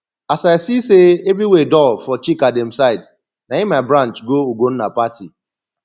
as i see say everywhere dull for chika dem side na im i branch go ugonna party